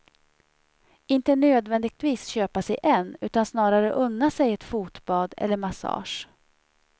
Inte nödvändigtvis köpa sig en, utan snarare unna sig ett fotbad eller massage.